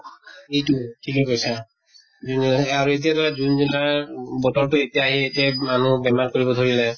এইটোয়ে, ঠিকে কৈছা আৰু এতিয়া ধৰা june july ত বতৰ টো এতিয়া আহি এতিয়া মানুহক বেমাৰ কৰিব ধৰিলে